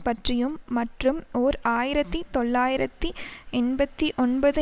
பற்றியும் மற்றும் ஓர் ஆயிரத்தி தொள்ளாயிரத்தி எண்பத்தி ஒன்பது